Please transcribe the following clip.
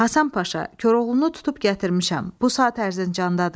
"Həsən Paşa, Koroğlunu tutub gətirmişəm, bu saat Ərzincandadır.